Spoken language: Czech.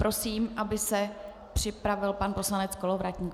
Prosím, aby se připravil pan poslanec Kolovratník.